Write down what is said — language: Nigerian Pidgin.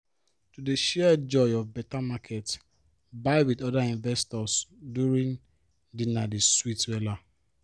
to dey share joy of better market buy with other investors during dinner dey sweet wella